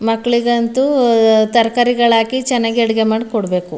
ಮಕ್ಕಳಿಗಂತೂ ತರಕಾರಿಗಳು ಹಾಕಿ ಚೆನ್ನಾಗಿ ಅಡುಗೆ ಮಾಡಿ ಕೊಡಬೇಕು.